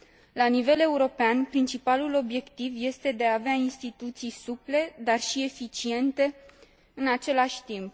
La nivel european, principalul obiectiv este de a avea instituții suple, dar și eficiente în același timp.